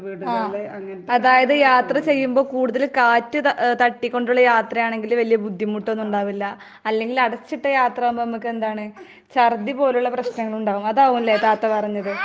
ആഹ് അതായത് യാത്ര ചെയ്യുമ്പോ കൂടുതല് കാറ്റ് ത ഏ തട്ടിക്കൊണ്ടുള്ള യാത്രയാണെങ്കില് വലിയ ബുദ്ധിമുട്ടൊന്നുണ്ടാവില്ല. അല്ലെങ്കില് അടച്ചിട്ട യാത്രയാകുമ്പ ഇമ്മക്കെന്താണ് ശർദി പോലുള്ള പ്രശ്നങ്ങളുണ്ടാകും. അതാകുംല്ലേ താത്ത പറഞ്ഞത്.